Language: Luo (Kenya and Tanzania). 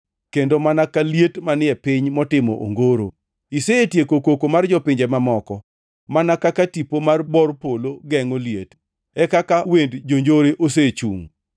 kendo mana ka liet manie piny motimo ongoro. Isetieko koko mar jopinje mamoko mana kaka tipo mar bor polo gengʼo liet, e kaka wend jonjore osechung.